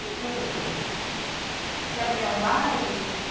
E a praia assim... E haviam bailes?